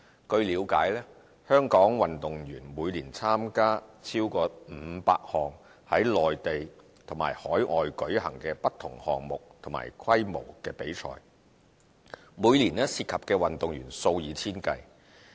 據了解，香港運動員每年參加超過500項於內地及海外舉行的不同項目和規模的比賽，每年涉及的運動員數以千計。